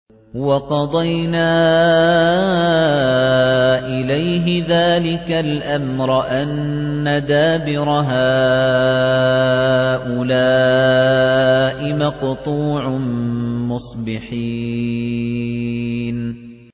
وَقَضَيْنَا إِلَيْهِ ذَٰلِكَ الْأَمْرَ أَنَّ دَابِرَ هَٰؤُلَاءِ مَقْطُوعٌ مُّصْبِحِينَ